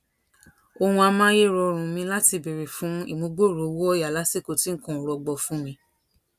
ohun amayerorun mi láti béèrè fún ìmúgbòòrò owó òyà lásìkò tí nǹkan ò rọgbọ fún mi